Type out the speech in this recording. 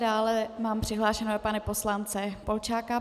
Dále mám přihlášeného pana poslance Polčáka.